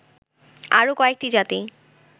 আরও কয়েকটি জাতি